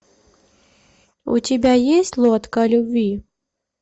у тебя есть лодка любви